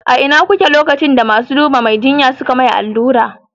A ina kuke lokacin da masu dubar Mai jinya suka yi masa allura?